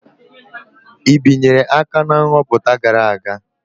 I binyere aka na nhọpụta gara aga?